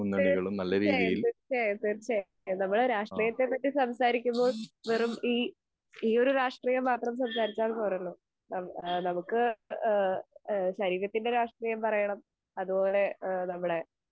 തീർ ച്ചയായും തീർച്ചയായും തീർച്ചയായും നമ്മൾ രാഷ്ട്രീയത്തെ പറ്റി സംസാരിക്കുന്നത് വെറും ഈ ഈയൊരു രാക്ഷ്ട്രിയം മാത്രം സംസാരിച്ചാൽ പോരല്ലോ എഹ് എഹ് നമ്മുക്ക് ഏഹ് എഹ് ശരികത്തിൻ്റെ രാക്ഷ്ട്രിയം പറയണം അതുപോലെ ഏഹ് നമ്മടെ